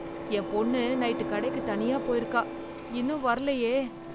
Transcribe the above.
என் பொண்ணு நைட்டு கடைக்கு தனியா போயிருக்கா இன்னும் வரலயே.